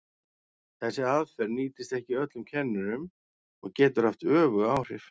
Þessi aðferð nýtist ekki öllum kennurum og getur haft öfug áhrif.